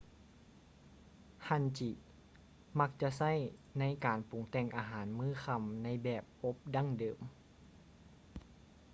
hangi ມັກຈະໃຊ້ ໃນການປຸງແຕ່ງອາຫານມື້ຄ່ຳໃນແບບອົບດັ້ງເດີມ